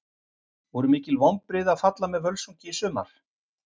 Voru mikil vonbrigði að falla með Völsungi í sumar?